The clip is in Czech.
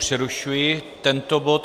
Přerušuji tento bod.